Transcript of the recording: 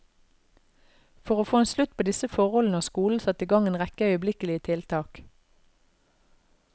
For å få en slutt på disse forholdene har skolen satt i gang en rekke øyeblikkelige tiltak.